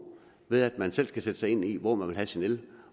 ved at man selv skal sætte sig ind i hvor man vil have sin el